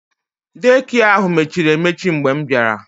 Dei kịe ahụ mechiri emechi mgbe m bịara